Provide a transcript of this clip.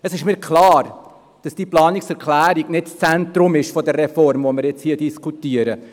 Es ist mir klar, dass diese Planungserklärung nicht das Zentrum der Reform ist, die wir jetzt hier diskutieren.